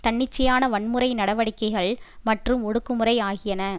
தன்னிச்சையான வன்முறை நடவடிக்கைகள் மற்றும் ஒடுக்குமுறை ஆகியன